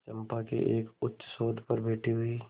चंपा के एक उच्चसौध पर बैठी हुई